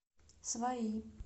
свои